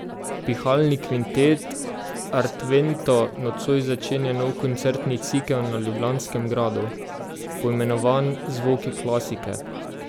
Pihalni kvintet Artvento nocoj začenja nov koncertni cikel na ljubljanskem gradu, poimenovan Zvoki klasike.